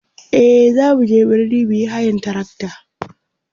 e zamu je birni muyi hayan trakta